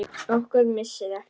Okkar missir er mikill.